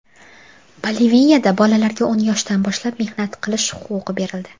Boliviyada bolalarga o‘n yoshdan boshlab mehnat qilish huquqi berildi.